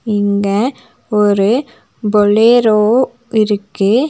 இங்க ஒரு பொளேரோ இருக்கு.